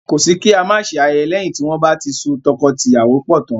Kọ́ sí kí á má ṣe ayẹyẹ lẹ́yin tí wọ́n bá ti so tọkọtìyàwó pọ̀ tán.